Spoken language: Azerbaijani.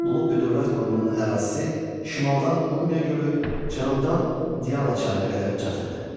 Lullubi dövlət qurumunun ərazisi şimaldan Urmiya gölü, cənubdan Diyala çayına qədər çatırdı.